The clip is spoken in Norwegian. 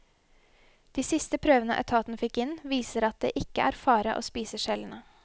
De siste prøvene etaten fikk inn viser at det ikke er fare å spise skjellene.